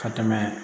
Ka tɛmɛ